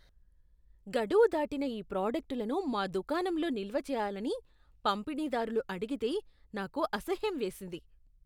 గడువు దాటిన ఈ ప్రాడక్టులను మా దుకాణంలో నిల్వ చేయాలని పంపిణీదారులు అడిగితే నాకు అసహ్యం వేసింది.